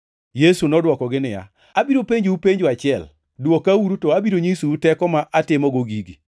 Yesu nodwokogi niya, “Abiro penjou penjo achiel. Dwokauru, to abiro nyisou teko ma atimogo gigi.